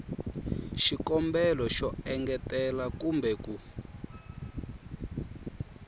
xikombelo xo engetela kumbe ku